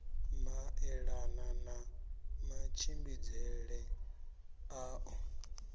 maelana na matshimbidzele a ḓo